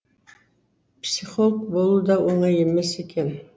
психолог болу да оңай емес екен